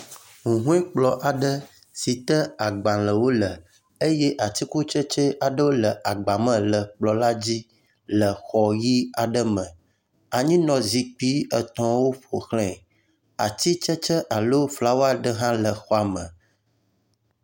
Huhɔekplɔ aɖe si te agbalewo le eye atikutsetse aɖewo le agba me le kplɔ la dzi le xɔ ʋi aɖe me. anyinɔzikpui etɔ̃wo ƒoxlae. Atitsetse alo flawa aɖe hã le xɔ la me.